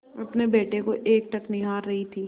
अपने बेटे को एकटक निहार रही थी